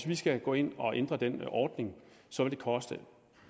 vi skal gå ind og ændre den ordning vil koste